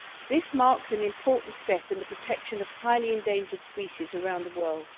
This marks an important step in the protection of highly endangered species around the world.